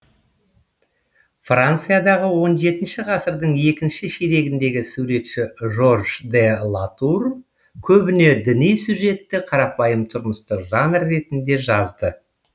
франциядағы он жетінші ғасырдың екінші ширегіндегі суретші жорж де латур көбіне діни сюжетті қарапайым тұрмыстық жанр ретінде жазды